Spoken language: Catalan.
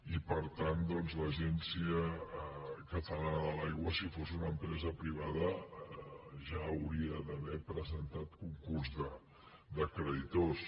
i per tant doncs l’agència catalana de l’aigua si fos una empresa privada ja hauria d’haver presentat concurs de creditors